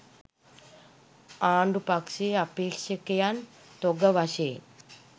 ආණ්ඩු පක්ෂයේ අපේක්ෂකයන් තොග වශයෙන්